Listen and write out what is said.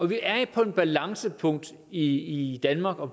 vi er på et balancepunkt i i danmark og